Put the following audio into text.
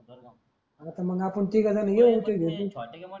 अरे त मग आपण तिघ जण येऊ भेटून.